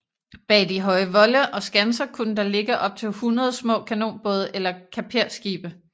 Bag de høje volde og skanser kunne der ligge op til hundrede små kanonbåde eller kaperskibe